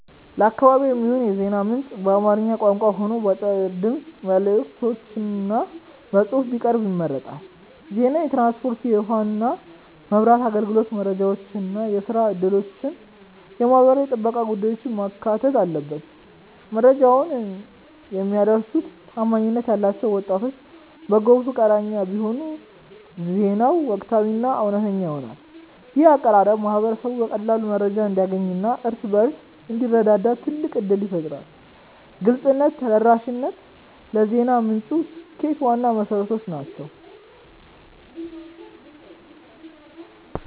ለአካባቢዬ የሚሆን የዜና ምንጭ በአማርኛ ቋንቋ ሆኖ በአጫጭር የድምፅ መልዕክቶችና በጽሑፍ ቢቀርብ ይመረጣል። ዜናው የትራንስፖርት፣ የውኃና መብራት አገልግሎት መረጃዎችን፣ የሥራ ዕድሎችንና የማኅበራዊ ጥበቃ ጉዳዮችን ማካተት አለበት። መረጃውን የሚያደርሱት ታማኝነት ያላቸው ወጣት በጎ ፈቃደኞች ቢሆኑ ዜናው ወቅታዊና እውነተኛ ይሆናል። ይህ አቀራረብ ማኅበረሰቡ በቀላሉ መረጃ እንዲያገኝና እርስ በርሱ እንዲረዳዳ ትልቅ ዕድል ይፈጥራል። ግልጽነትና ተደራሽነት ለዜና ምንጩ ስኬት ዋና መሠረቶች ናቸው።